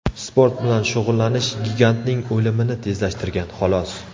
Sport bilan shug‘ullanish gigantning o‘limini tezlashtirgan, xolos.